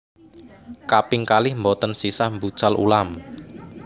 Kaping kalih mboten sisah mbucal ulam